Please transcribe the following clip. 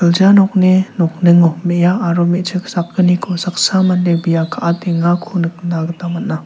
gilja nokni nokningo me·a aro me·chik sakgniko saksa mande bia kaatengako nikna gita man·a.